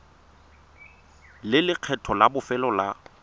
le lekgetho la bofelo la